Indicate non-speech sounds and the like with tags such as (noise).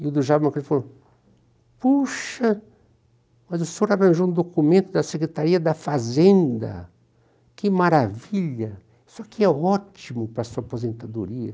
E o do (unintelligible) quando ele viu ele falou, ''puxa, mas o senhor arranjou um documento da Secretaria da Fazenda, que maravilha, isso aqui é ótimo para a sua aposentadoria''.